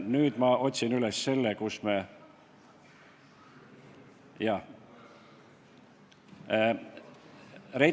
Nüüd ma otsin üles selle, kus me hääletasime Reitelmanni kandidatuuri.